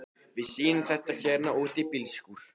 Við sýnum það hérna úti í bílskúr.